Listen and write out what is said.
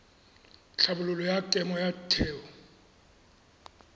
tlhabololo ya kemo ya theo